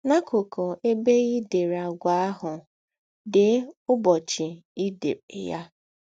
N’akụkụ ebe i dere àgwà ahụ, dee ụbọchị i dere ya.